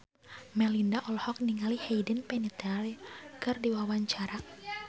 Melinda olohok ningali Hayden Panettiere keur diwawancara